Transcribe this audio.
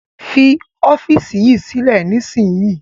Fi ọ́fíísì yìí sílẹ̀ nísìnyí!